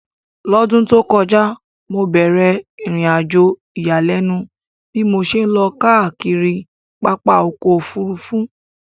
L'ọ́dún tó kọjá, mo bẹ̀ẹ̀rẹ̀ ìrìnàjò ìyàlẹ́nu bí mo ṣe lọ káàkiri pápá ọkọ̀ Òfurufú